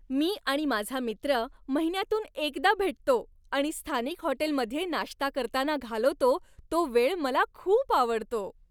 मी आणि माझा मित्र महिन्यातून एकदा भेटतो आणि स्थानिक हॉटेलमध्ये नाश्ता करताना घालवतो तो वेळ मला खूप आवडतो.